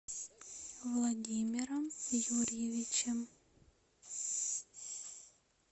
владимиром юрьевичем